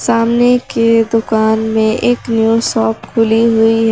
सामने की दुकान में एक न्यू शॉप खुली हुई है।